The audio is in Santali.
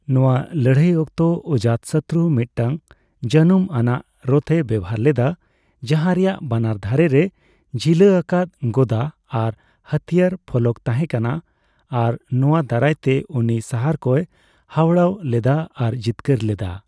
ᱱᱚᱣᱟ ᱞᱟᱹᱲᱦᱟᱹᱭ ᱚᱠᱛᱚ, ᱚᱡᱟᱛᱥᱚᱛᱨᱩ ᱢᱤᱫᱴᱟᱝ ᱡᱟᱹᱱᱩᱢ ᱟᱱᱟᱜ ᱨᱚᱛᱷᱮ ᱵᱮᱣᱦᱟᱨ ᱞᱮᱫᱟ, ᱡᱟᱦᱟᱸ ᱨᱮᱭᱟᱜ ᱵᱟᱱᱟᱨ ᱫᱷᱟᱨᱮ ᱨᱮ ᱡᱷᱤᱞᱟᱹ ᱟᱠᱟᱫ ᱜᱚᱫᱟ ᱟᱨ ᱦᱟᱹᱛᱭᱟᱹᱨ ᱯᱷᱚᱞᱚᱠ ᱛᱟᱦᱮᱸᱠᱟᱱᱟ ᱟᱨ ᱱᱚᱣᱟ ᱫᱟᱨᱟᱭ ᱛᱮ ᱩᱱᱤ ᱥᱟᱦᱟᱨ ᱠᱚᱭ ᱦᱟᱣᱲᱟᱣ ᱞᱮᱫᱟ ᱟᱨ ᱡᱤᱛᱠᱟᱹᱨ ᱞᱮᱫᱟᱭ ᱾